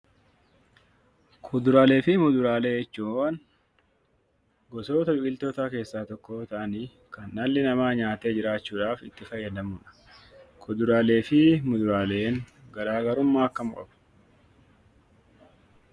Kuduraaleefi muduraalee jechuun; gosoota biqiltootaa keessa tokko yoo ta'aani Kan dhalli nama nyaate jiraachuudhaaf itti faayadamuudha. Kuduraaleefi muduraaleen garagaruummaa akkami qabu?